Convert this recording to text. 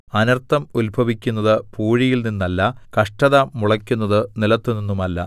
അനർത്ഥം ഉത്ഭവിക്കുന്നത് പൂഴിയിൽനിന്നല്ല കഷ്ടത മുളയ്ക്കുന്നത് നിലത്തുനിന്നുമല്ല